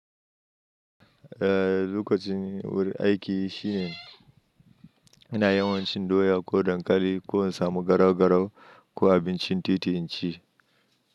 Eh, lokacin wuri aiki shi ne ina yawa cin doya ko dakali ko in samu garau-garau ko abincin titi in ci.